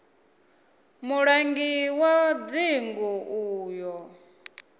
mulangi wa dzingu u ḓo